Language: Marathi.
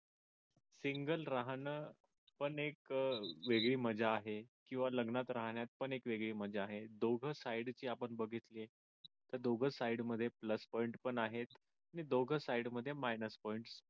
single राहणं पण एक वेगळी मजा आहे किंवा लग्नात राहण्यात पण एक वेगळी मजा आहे दोघ side जे आपण बघितले तर दोघ side मध्ये plus point पण आहेत आणि दोघ side मध्ये minus point